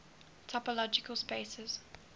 topological spaces